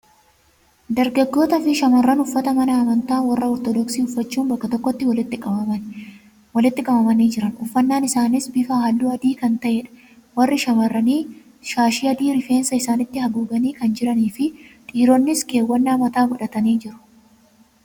Dargaggootaa fi shamarran uffata mana amantaa warra Ortodoksii uffachuun bakka tokkotti walitti qabamanii jiran. Uffannaan isaaniis bifa halluu adii kan ta'edha. Warri shamarranii shaashii adii rifeensa isaaniitti haguuganii kan jiranii fi dhiironnis keewwannaa mataa godhatanii jiru.